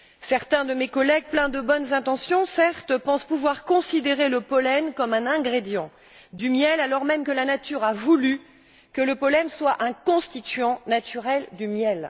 Certains de mes collègues, pleins de bonnes intentions certes, pensent pouvoir considérer le pollen comme un ingrédient du miel alors même que la nature a voulu que le pollen soit un constituant naturel du miel.